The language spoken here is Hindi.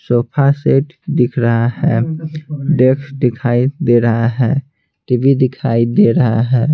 सोफा सेट दिख रहा है डेक्स दिखाई दे रहा है टीवी दिखाई दे रहा है ।